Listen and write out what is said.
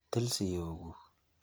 Til siok kuk.